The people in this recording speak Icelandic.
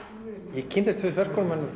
ég kynntist verkum hennar